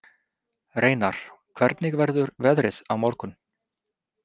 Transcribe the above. Reynar, hvernig verður veðrið á morgun?